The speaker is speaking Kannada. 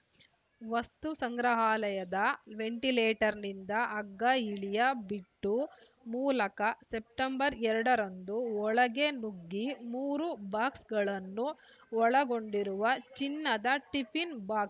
ವಸ್ತುಸಂಗ್ರಹಾಲಯದ ವೆಂಟಿಲೇಟರ್‌ನಿಂದ ಹಗ್ಗ ಇಳಿಯ ಬಿಟ್ಟು ಮೂಲಕ ಸೆಪ್ಟೆಂಬರ್ ಎರಡರಂದು ಒಳಗೆ ನುಗ್ಗಿ ಮೂರು ಬಾಕ್ಸ್‌ಗಳನ್ನು ಒಳಗೊಂಡಿರುವ ಚಿನ್ನದ ಟಿಫಿನ್‌ ಬಾಕ್